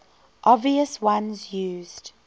obvious ones used